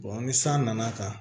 ni san nana kan